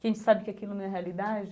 Quem sabe que aquilo não é realidade?